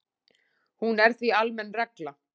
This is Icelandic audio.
Hún er því almenn regla.